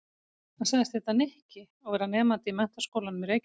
Hann sagðist heita Nikki og vera nemandi í Menntaskólanum í Reykjavík.